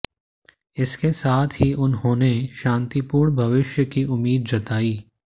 इसके साथ ही उन्होंने शांतिपूर्ण भविष्य की उम्मीद जताई